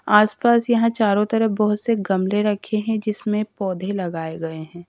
आसपास यहां चारों तरफ बहुत से गमले रखे हैं जिसमें पौधे लगाए गए हैं।